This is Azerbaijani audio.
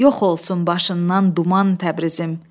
Yox olsun başından duman Təbrizim!